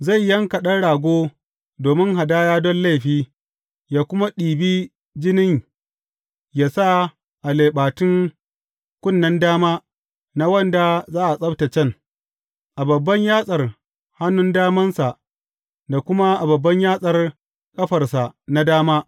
Zai yanka ɗan rago domin hadaya don laifi ya kuma ɗibi jinin ya sa a leɓatun kunnen dama na wanda za a tsabtaccen, a babban yatsar hannun damansa da kuma a babban yatsar ƙafarsa na dama.